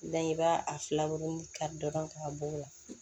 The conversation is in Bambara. i b'a a filaburu kari dɔrɔn k'a bɔ o la